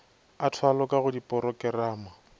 a thwalo ka go diporokerama